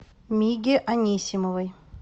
миге анисимовой